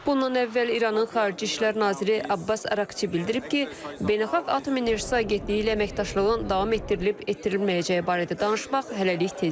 Bundan əvvəl İranın xarici işlər naziri Abbas Əraqçi bildirib ki, Beynəlxalq Atom Enerjisi Agentliyi ilə əməkdaşlığın davam etdirilib-etdirilməyəcəyi barədə danışmaq hələlik tezdir.